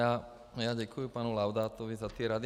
Já děkuji panu Laudátovi za ty rady.